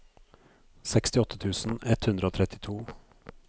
sekstiåtte tusen ett hundre og trettito